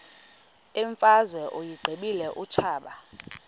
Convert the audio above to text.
imfazwe uyiqibile utshaba